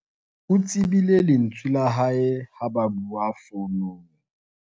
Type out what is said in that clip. o tsebile lentswe la hae ha a bua founung